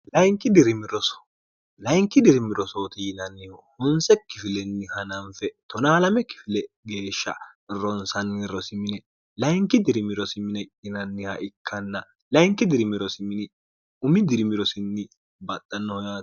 layinki dirimi rosooti yilanniho hunsekkifilenni hananfe 1o 2 kifile geeshsha ronsanni rosi mine layinki dirimirosimine inanniha ikkanna layinki dirimirosi mini umi dirimirosinni baxxannoho y